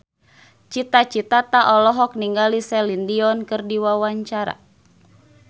Cita Citata olohok ningali Celine Dion keur diwawancara